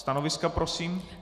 Stanoviska prosím?